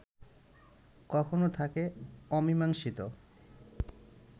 কখনো থাকে অমীমাংসিত